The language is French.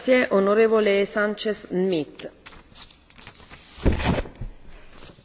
Madame la Présidente, l'Union européenne compte aujourd'hui près de 500 millions d'habitants.